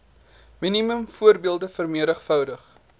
minimum voordele vmv